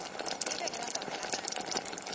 ibe ngemagama langabi